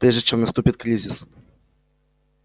прежде чем наступит кризис